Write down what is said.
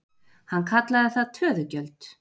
Hann kallaði það töðugjöld.